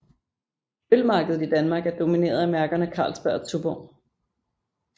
Ølmarkedet i Danmark er domineret af mærkerne Carlsberg og Tuborg